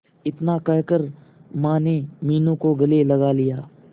इतना कहकर माने मीनू को गले लगा लिया